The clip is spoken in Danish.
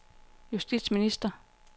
justitsminister